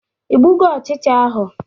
Igbugo ọchịcha ahụ?